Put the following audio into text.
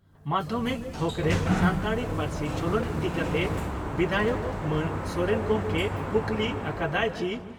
ᱢᱟᱫᱷᱭᱚᱢᱤᱠ ᱛᱷᱚᱠᱨᱮ ᱥᱟᱱᱛᱟᱲᱤ ᱯᱟᱹᱨᱥᱤ ᱪᱚᱞᱚᱱ ᱤᱫᱤ ᱠᱟᱛᱮ ᱵᱤᱫᱷᱟᱭᱚᱠ ᱢᱟᱱ ᱥᱚᱨᱮᱱ ᱜᱚᱢᱠᱮᱭ ᱠᱩᱠᱞᱤ ᱟᱠᱟᱫᱼᱟ ᱪᱤ